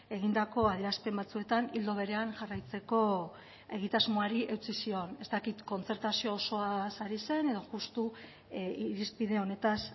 egindako adierazpen batzuetan ildo berean jarraitzeko egitasmoari eutsi zion ez dakit kontzertazio osoaz ari zen edo justu irizpide honetaz